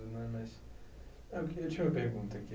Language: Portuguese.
né? Mas eu queria eu tinha uma pergunta aqui,